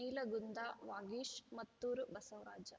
Neelagunda Vagesh Mattur Basavaraj